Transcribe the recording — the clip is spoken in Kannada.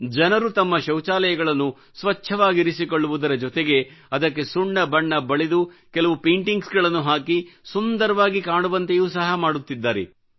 ಜನರು ತಮ್ಮ ಶೌಚಾಲಯಗಳನ್ನು ಸ್ವಚ್ಚವಾಗಿರಿಸಿಕೊಳ್ಳುವುದರ ಜೊತೆಗೆ ಅದಕ್ಕೆ ಸುಣ್ಣ ಬಣ್ಣ ಬಳಿದು ಕೆಲವು ಪೈಂಟಿಂಗ್ ಗಳನ್ನು ಹಾಕಿ ಸುಂದರವಾಗಿ ಕಾಣುವಂತೆಯೂ ಸಹ ಮಾಡುತ್ತಿದ್ದಾರೆ